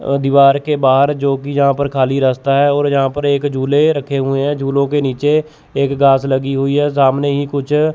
अह दिवार के बाहर जो की यहां पर खाली रस्ता है और यहां पर एक झूले रखे हुए हैं झूलो के नीचे एक घास लगी हुई है सामने ही कुछ--